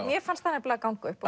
mér fannst það nefnilega ganga upp